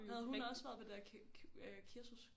Havde hun også være på det der kursus